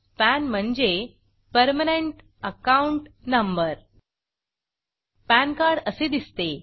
pan म्हणजे permanent account number PAN card असे दिसते